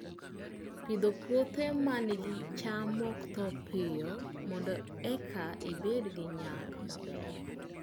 Pidho puothe ma nigi cham ma ok tho piyo mondo eka ibed gi nyak maber